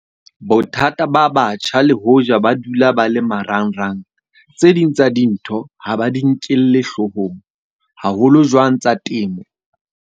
Bothata ba batjha le hoja ba dula ba le marangrang, tse ding tsa dintho ha ba di nkelle hloohong. Haholo jwang tsa temo.